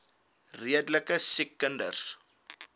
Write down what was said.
redelike siek kinders